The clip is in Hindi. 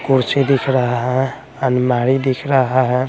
कुर्सी दिख रहा है अनमारी दिख रहा है।